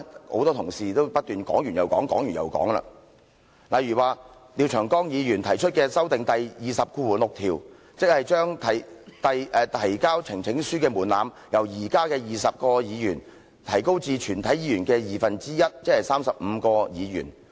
很多同事已經不斷在說，例如廖長江議員提出修訂《議事規則》第206條，將提交呈請書的門檻由現時的20位議員提高至全體議員的二分之一，即35位議員。